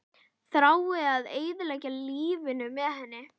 Þrái að eyða lífinu með henni.